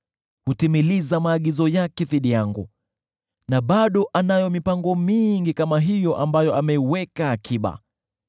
Hutimiliza maagizo yake dhidi yangu, na bado anayo mipango mingi kama hiyo ambayo ameiweka akiba.